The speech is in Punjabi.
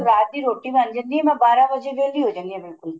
ਰਾਤ ਦੀ ਰੋਟੀ ਬਣ ਜਾਂਦੀ ਏ ਮੈਂ ਬਾਰਾਂ ਵਜੇ ਵਿਹਲੀ ਹੋ ਜਾਨੀ ਆ ਬਿਲਕੁਲ